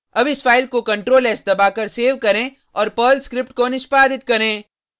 अब इस फाइल को ctlr s दबाकर सेव करें और पर्ल स्क्रिप्ट को निष्पादित करें